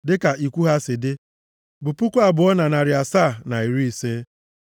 dịka ikwu ha si dị bụ puku abụọ na narị asaa na iri ise (2,750).